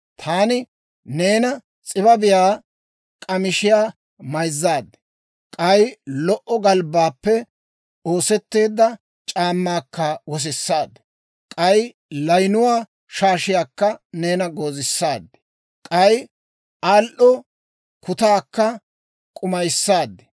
Taani neena s'ibabiyaa k'amishiyaa mayzzaad; k'ay lo"o galbbaappe oosetteedda c'aammaakka wosissaad; k'ay layinuwaa shaashiyaakka neena goozisaad; k'ay al"o kutaakka k'umayissaad.